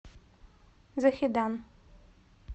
захедан